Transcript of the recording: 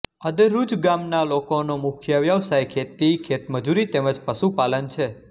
અદરૂજ ગામના લોકોનો મુખ્ય વ્યવસાય ખેતી ખેતમજૂરી તેમ જ પશુપાલન છે